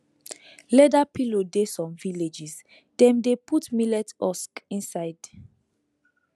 leather pillow dey some villages dem dey put millet husk inside